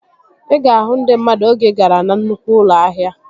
Ị ga-ahụ ndị mmadụ oge ị gara na nnukwu ụlọ ahịa